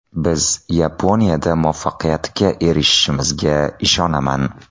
Biz Yaponiyada muvaffaqiyatga erishishimizga ishonaman.